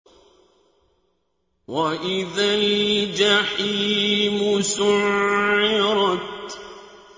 وَإِذَا الْجَحِيمُ سُعِّرَتْ